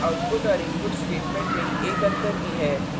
और यहाँ output और input statements में एक अंतर भी है